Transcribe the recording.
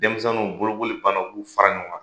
Denmisɛnninw, bolokoli banna u b'u fara ɲɔgɔn kan.